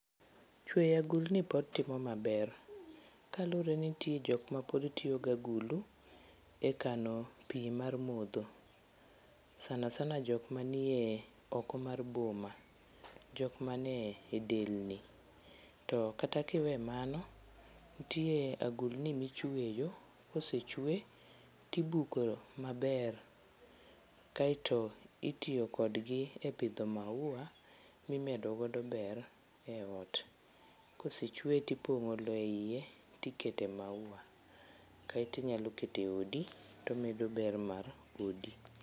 Chweyo agulni pod timo maber kaluwre ni ntie jokma pod tiyo gagulu e kano pi mar modho sana sana jokma nie oko mar boma jokma ne delni. Kata kiwe mano, ntie agulni ma ichweyo kosechwe tibuko maber kaeto itiyo kodgi e pidho maua mimedo godo ber e ot. Kosechweye tipong'o lowo e iye tikete maua kaeti nyalo kete odi tomedo ber mar odi.